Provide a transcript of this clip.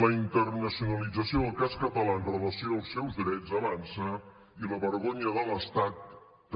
la internacionalització del cas català amb relació als seus drets avança i la vergonya de l’estat també